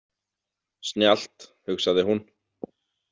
Snjallt, hugsaði hún.